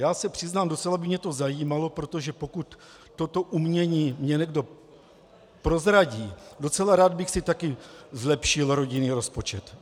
Já se přiznám, docela by mě to zajímalo, protože pokud toto umění mi někdo prozradí, docela rád bych si také zlepšil rodinný rozpočet.